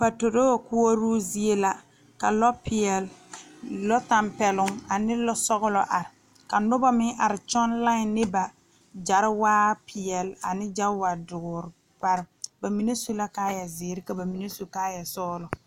Patoroo koɔroo zie la ka lɔ peɛle lɔ tampɛloŋ ane lɔ sɔglɔ are ka nobɔ meŋ are kyɔŋ lai ne ba gyariwaare peɛle ane gariwa dɔɔre ba mine su la kaayɛ dɔɔre ka ba mine su kaayɛ sɔglɔ.